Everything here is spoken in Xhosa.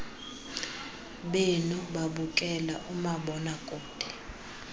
benu babukela umabonakude